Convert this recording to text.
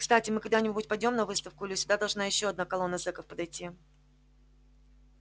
кстати мы когда-нибудь пойдём на выставку или сюда должна ещё одна колонна зеков подойти